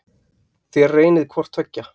Þér reynið hvort tveggja.